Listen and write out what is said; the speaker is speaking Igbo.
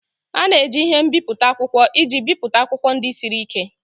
A na-eji ihe mbipụta akwụkwọ iji bipụta akwụkwọ ndị siri ike